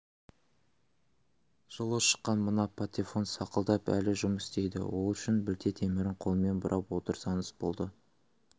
жылы шыққан мына патефон сақылдап әлі жұмыс істейді ол үшін білте темірін қолмен бұрап отырсаңыз болды